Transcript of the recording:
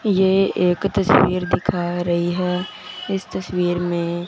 ये एक तस्वीर दिखा रही है इस तस्वीर मे--